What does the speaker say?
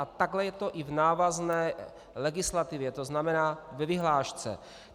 A takhle je to i v návazné legislativě, to znamená ve vyhlášce.